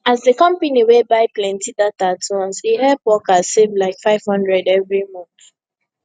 as the company wey buy plenty data at once e help workers save like 500 every month